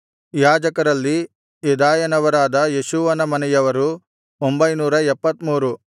ಯಾಜಕರಲ್ಲಿ ಯೆದಾಯನವರಾದ ಯೇಷೂವನ ಮನೆಯವರು 973